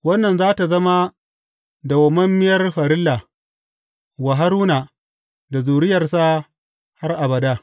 Wannan za tă zama dawwammamiyar farilla wa Haruna da zuriyarsa har abada.